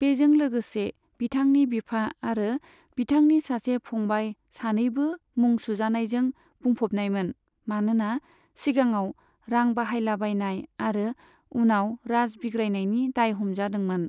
बेजों लोगोसे, बिथांनि बिफा आरो बिथांनि सासे फंबाइ सानैबो मुं सुजानायजों बुंफबनायमोन मानोना सिगाङाव रां बाहायलाबायनाय आरो उनाव राज बिग्रायनायनि दाय हमजादोंमोन।